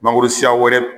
Mangoro siya wɛrɛ